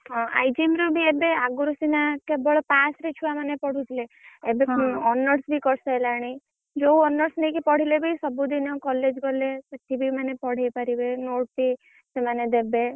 ହଁ IGM ର ବି ଏବେ ଆଗରୁ ସିନା କେବଳ pass ରେ ଛୁଆ ମାନେ ପଢୁଥିଲେ ଏବେ honours ବି କରିସାଇଲାଣି। ଯୋଉ honours ନେଇକି ପଢିଲେ ବି ସବୁ ଦିନ college ଗଲେ ସେଠିବି ମାନେ ପଢି ପାରିବେ notes ବି ସେମାନେ ଦେବେ।